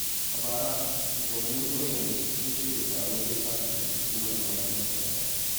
A bara, shugabannin ƙauyenmu sun shirya taro don sasanta rikicin manoma da makiyaya.